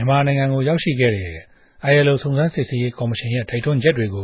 န်မာိံိုင်ငံကို ရောက်ရြိခဲ့တဲ့ ILO စုံစမ်းစစ်ဆေးရေး ကော်မရြင်ရဲ့ တိုက်တြန်းခဵက်တေကြိ